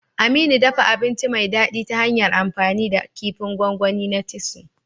Aminu, dafa abinci mai daɗi ta hanyar amfani da kifin gwangwani na titus.